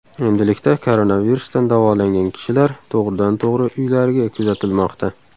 Endilikda koronavirusdan davolangan kishilar to‘g‘ridan to‘g‘ri uylariga kuzatilmoqda.